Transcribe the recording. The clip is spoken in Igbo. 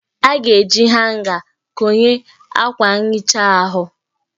A ga-eji hanga konye akwa nhicha ahụ